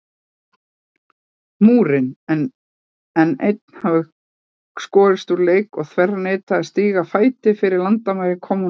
Múrinn, en einn hefði skorist úr leik og þverneitað að stíga fæti innfyrir landamæri kommúnistaríkis.